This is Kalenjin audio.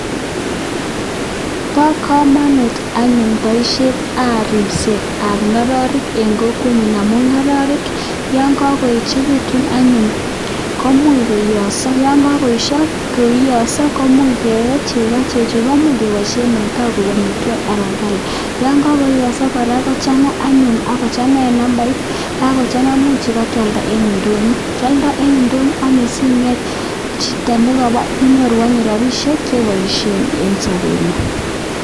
po kamanut paishet ap ripet ap ngororrik ing kokwenyun yo kakoechikitu anyun komuch koiya ako much kelu chego ako yakaiyo komuch kealda chego ako ngochanga komuch kealda ing ndonyo sinyoru chepkondok chepaishe ing sapengung.